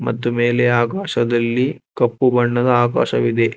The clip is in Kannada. ಮತ್ತು ಮೇಲೆ ಆಕಾಶದಲ್ಲಿ ಕಪ್ಪು ಬಣ್ಣದ ಆಕಾಶವಿದೆ.